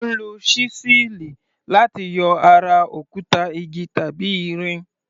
À ń lo ṣísẹ́ẹ̀lì láti yọ ara òkúta, igi tàbí irin.